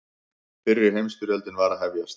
Fyrri heimsstyrjöldin var að hefjast.